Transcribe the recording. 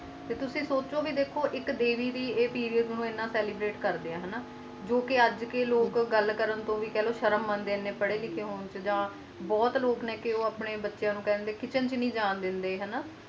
ਤੇ ਸੋਚੋ ਤੁਸੀ ਦੇਖੋ ਇਕ ਦੇਵੀ ਦੀ ਪੇਰਿਓਦਸ ਨੂੰ ਕਰ ਦੇ ਆ ਜੋ ਕ ਅਜੇ ਦੇ ਲੋਗ ਮਾਨਲੋ ਬਾਤ ਕਰਨ ਤੋਂ ਭੀ ਸ਼ਰਮਿੰਦੇ ਆਂ ਹੁਣ ਤਾ ਬੋਹਤ ਲੋਕ ਨੇ ਜੋ ਕਹਿੰਦੇ ਆਪਣੇ ਬੱਚਿਆਂ ਨੂੰ ਕਿਤਚੇਨ ਵਿਚ ਨਹੀਂ ਜਾਨ ਦੇਂਦੇ